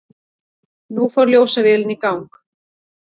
Nú fór ljósavélin í gang.